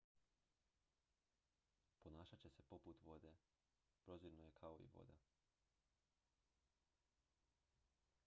ponašat će se poput vode prozirno je kao i voda